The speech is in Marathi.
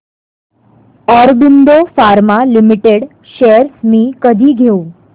ऑरबिंदो फार्मा लिमिटेड शेअर्स मी कधी घेऊ